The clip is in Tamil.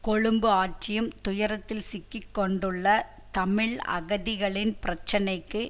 கொழும்பு ஆட்சியும் துயரத்தில் சிக்கி கொண்டுள்ள தமிழ் அகதிகளின் பிரச்சனைக்கு